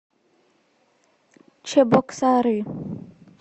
чебоксары